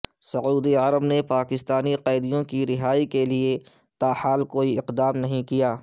سعودی عرب نے پاکستانی قیدیوں کی رہائی کیلئے تاحال کوئی اقدام نہیں کیا